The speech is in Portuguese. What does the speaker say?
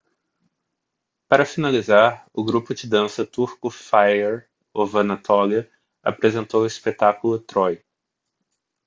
para finalizar o grupo de dança turco fire of anatolia apresentou o espetáculo troy